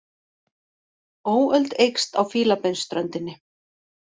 Óöld eykst á Fílabeinsströndinni